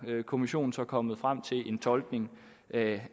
kommissionen så er kommet frem til en tolkning af